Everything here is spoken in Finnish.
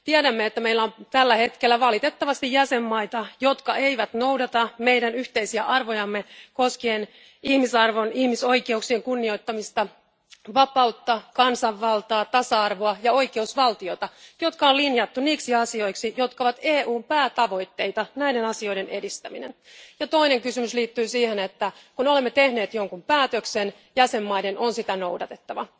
Tiedämme, että meillä on tällä hetkellä valitettavasti jäsenmaita, jotka eivät noudata meidän yhteisiä arvojamme koskien ihmisarvon ja ihmisoikeuksien kunnioittamista, vapautta, kansanvaltaa, tasa arvoa ja oikeusvaltiota, jotka on linjattu niiksi asioiksi, joiden edistäminen on EUn päätavoitteita. Toinen kysymys liittyy siihen, että kun olemme tehneet jonkun päätöksen, jäsenmaiden on sitä noudatettava.